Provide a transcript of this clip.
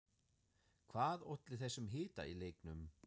Hvað olli þessum hita í leiknum?